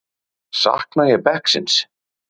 Sakna ég bekksins?